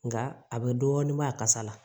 Nka a bɛ dɔɔnin bɔ a kasa la